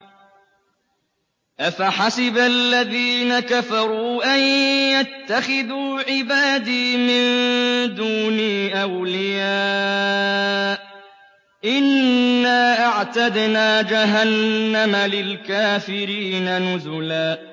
أَفَحَسِبَ الَّذِينَ كَفَرُوا أَن يَتَّخِذُوا عِبَادِي مِن دُونِي أَوْلِيَاءَ ۚ إِنَّا أَعْتَدْنَا جَهَنَّمَ لِلْكَافِرِينَ نُزُلًا